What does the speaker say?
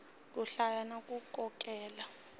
ku hlaya na ku kokeka